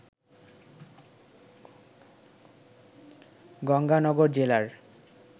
গঙ্গানগর জেলার